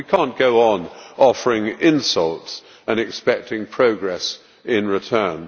We cannot go on offering insults and expecting progress in return.